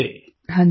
प्रेम जी हाँ जी